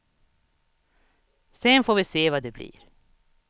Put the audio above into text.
Sen får vi se vad det blir.